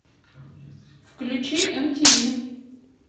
включи м тиви